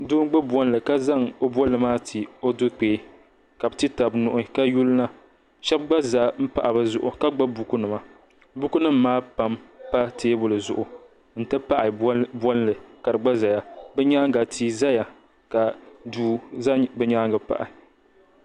Doo gbibi bolli ka zaŋ bolli maa ti o do'kpee ka bɛ ti taba nuhi sheba gba zan m pahi bɛ zuɣu ka gbibi bukunima bukunima maa pam pa teebuli zuɣu n ti pahi bolli ka di gba zaya bɛ nyaaga tia zaya ka duu za bɛ nyaanga pahi.